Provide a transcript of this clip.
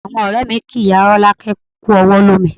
Àwọn ọ̀rẹ́ mi kí ìyá Rolake kú ọwọ́ lómi